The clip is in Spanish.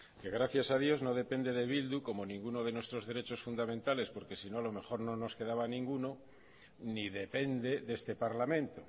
que gracias a dios no depende de bildu como ninguno de nuestros derechos fundamentales porque sino a lo mejor no nos quedaba ninguno ni depende de este parlamento